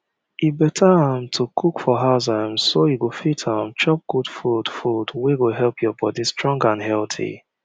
e better um to cook for house um so you go fit um chop good food food wey go help your body strong and healthy